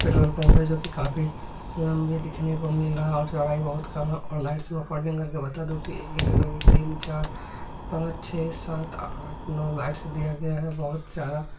Petrol pump है जो की काफी लंबे देखने को मिल रहा है और चौड़ाई बहुत कम है और लाइट्स मैं काउंटिंग करके बता दूं कि एक दो तीन चार पांच छे सात आठ नौ लाइट्स दिया गया है बहुत ज्यादा।